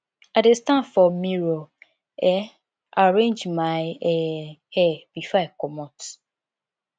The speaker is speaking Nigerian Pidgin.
i dey stand for mirror um arrange my um hair before i comot